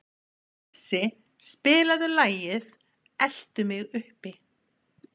Issi, spilaðu lagið „Eltu mig uppi“.